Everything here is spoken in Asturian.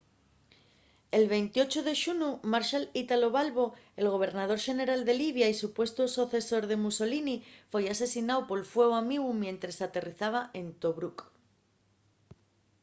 el 28 de xunu marshal italo balbo el gobernador xeneral de libia y supuestu socesor de mussolini foi asesináu por fueu amigu mientres aterrizaba en tobruc